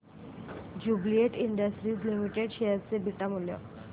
Jubilant Industries Limited share चे beta मूल्य